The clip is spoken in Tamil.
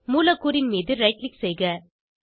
மூலக்கூறின் மீது ரைட் க்ளிக் செய்க